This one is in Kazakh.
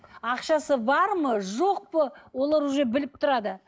ақшасы бар ма жоқ па олар уже біліп тұрады